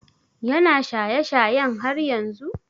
Ya na shaye shayen har yanzu?